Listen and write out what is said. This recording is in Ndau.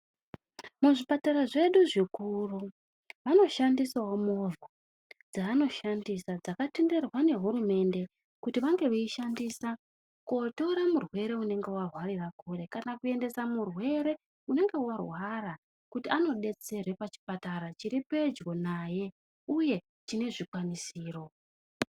Muzvipara zvedu zvikuru, vanoshandisawo movha, dzaanoshandisa dzakatenderwa nehurumende, kuti vange veishandisa, kotora murwere unenge arwarira kure, kana kuendesa murwere unenge warwara kuti anodetserwe pachipatara chiri pedyo naye, uye chine zvikwanisiro.